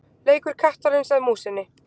Leikur kattarins að músinni.